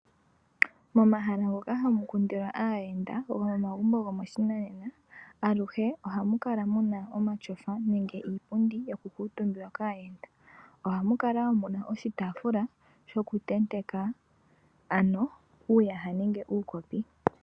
Momahala ngoka hamu kundilwa aayenda gomomagumbo gopashinanena aluhe ohamu kala muna omatyofa nenge iipundi yoku kuutumbiwa kaayenda. Ohamu kala muna oshitaafula shokutenteka ano uuyaha nenge uukopi.